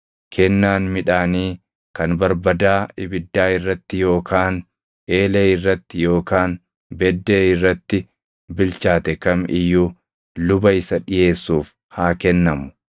Kennaan midhaanii kan barbadaa ibiddaa irratti yookaan eelee irratti yookaan beddee irratti bilchaate kam iyyuu luba isa dhiʼeessuuf haa kennamu;